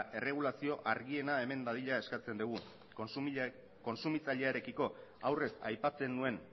erregulazio argiena eman dadila eskatzen dugu kontsumitzailearekiko aurrez aipatzen nuen